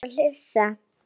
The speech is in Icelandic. Simmi fór að flissa.